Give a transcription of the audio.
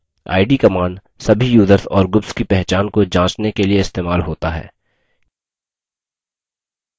id – command सभी users और groups की पहचान को जाँचने के लिए इस्तेमाल होता है